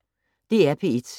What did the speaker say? DR P1